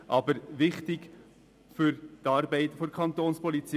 sie sind aber wichtig für die Arbeit der Kapo.